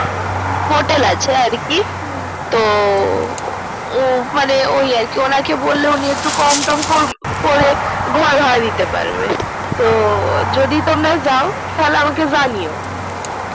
hotel আছে আর কি তো ও মানে ওই আর কিবললে উনি একটু কোমটম করে ঘর ভাড়া দিতে পারবে তো যদি তোমরা যাও তাহলে আমাকে জানিও আচ্ছা আচ্ছা